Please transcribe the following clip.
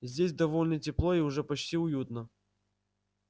здесь довольно тепло и уже почти уютно